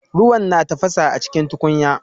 Ruwan na tafasa acikin tukunya